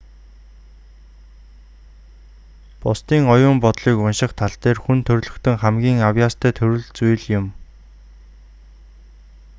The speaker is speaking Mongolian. бусдын оюун бодлыг унших тал дээр хүн төрөлхтөн хамгийн авьяастай төрөл зүйл юм